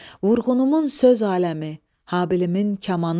Vurğunumun söz aləmi, Habilimin kamanısan.